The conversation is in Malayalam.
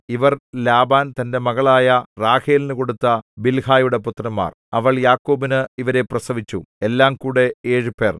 ഇവർ ലാബാൻ തന്റെ മകളായ റാഹേലിനു കൊടുത്ത ബിൽഹായുടെ പുത്രന്മാർ അവൾ യാക്കോബിന് ഇവരെ പ്രസവിച്ചു എല്ലാംകൂടെ ഏഴുപേർ